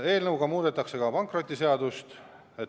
Eelnõuga muudetakse ka pankrotiseadust.